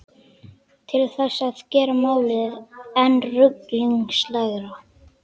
Til þess að gera málið enn ruglingslegra.